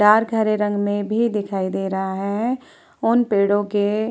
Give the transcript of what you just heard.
Dark हरे रंग मे भी दिखाई दे रहा हैं। उन पेड़ों के --